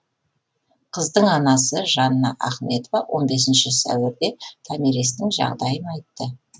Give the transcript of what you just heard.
қыздың анасы жанна ахметова он бесінші сәуірде томиристің жағдайын айтты